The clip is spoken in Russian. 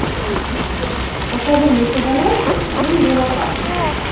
покажи мне киноленту день дурака